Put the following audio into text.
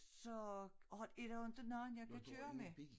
Så har er der jo inte nogen jeg kan køre med